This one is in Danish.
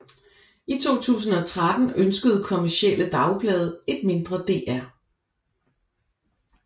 I 2013 ønskede kommercielle dagblade et mindre DR